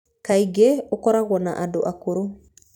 Kaingĩ ũkoragwo na andũ akũrũ.